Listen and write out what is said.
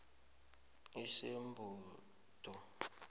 usebhundu